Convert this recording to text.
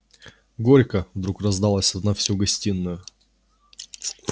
горько вдруг раздалось на всю гостиную